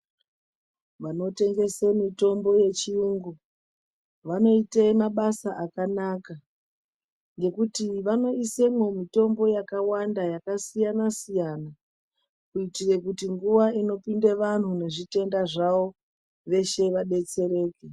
Vanotengese mitombo yechiyungu vanoite mabasa akanaka ngekuti vanoisemwo mitombo yakawanda yakasiyana siyana. Kuitire kuti nguwa inopinde vantu nezvitenda zvawo veshe vadetsereke.